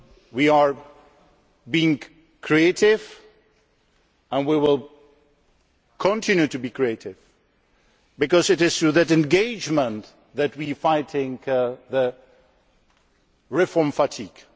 We are being creative and we will continue to be creative because it is through that engagement that we are fighting reform fatigue.